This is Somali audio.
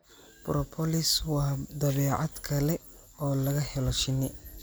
Propolis waa badeecad kale oo laga helo shinni